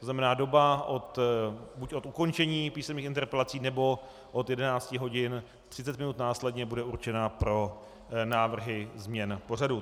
To znamená doba buď od ukončení písemných interpelací, nebo od 11 hodin, 30 minut následně bude určena pro návrhy změn pořadu.